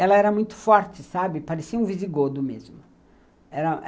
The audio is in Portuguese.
Ela era muito forte, sabe, parecia um visigodo mesmo. Era